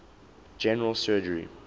general surgery